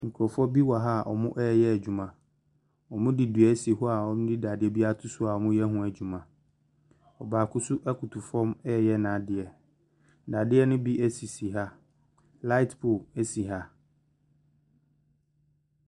Nkurɔfoɔ bi wɔ ha a wɔreyɛ adwuma, wɔde dua asi hɔ a wɔde dadeɛ ato so a wɔreyɛ ho adwuma, ɔbaako nso koto fam ɛreyɛ n’adeɛ, nnadeɛ ne bi sisi ha, light pole si ha.